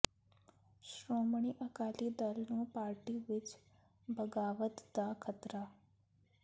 ਸ਼ੋ੍ਮਣੀ ਅਕਾਲੀ ਦਲ ਨੂੰ ਪਾਰਟੀ ਵਿੱਚ ਬਗ਼ਾਵਤ ਦਾ ਖ਼ਤਰਾ